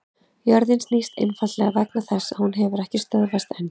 Jörðin snýst einfaldlega vegna þess að hún hefur ekki stöðvast enn!